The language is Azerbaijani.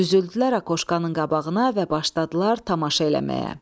Düzüldülər aqoşkanın qabağına və başladılar tamaşa eləməyə.